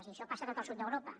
i això passa a tot el sud d’europa